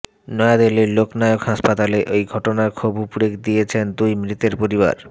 নয়াদিল্লির লোক নায়ক হাসপাতালে এই ঘটনায় ক্ষোভ উগড়ে দিয়েছেন দুই মৃতের পরিবার